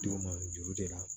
Duguma juru de la